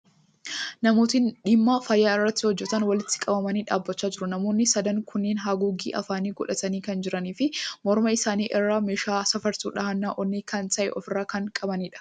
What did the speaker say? Namootni dhimma fayyaa irratti hojjatan, walitti qabamanii dhaabbachaa jiru. Namoonni sadan kunneeni haguuggee afaanii godhatanii kan jiranii fi morma isaanii irraa meeshaa safartuu dhahannaa onnee kan ta'e ofirraa kan qabaniidha.